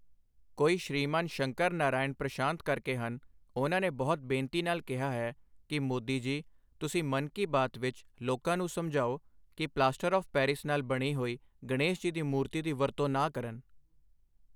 ਕੋਈ ਸ਼੍ਰੀਮਾਨ ਸ਼ੰਕਰ ਨਾਰਾਇਣ ਪ੍ਰਸ਼ਾਂਤ ਕਰਕੇ ਹਨ, ਉਨ੍ਹਾਂ ਨੇ ਬਹੁਤ ਬੇਨਤੀ ਨਾਲ ਕਿਹਾ ਹੈ ਕਿ ਮੋਦੀ ਜੀ, ਤੁਸੀਂ ਮਨ ਕੀ ਬਾਤ ਵਿੱਚ ਲੋਕਾਂ ਨੂੰ ਸਮਝਾਓ ਕਿ ਪਲਾਸਟਰ ਔਫ ਪੈਰਿਸ ਨਾਲ ਬਣੀ ਹੋਈ ਗਣੇਸ਼ ਜੀ ਦੀ ਮੂਰਤੀ ਦੀ ਵਰਤੋਂ ਨਾ ਕਰਨ।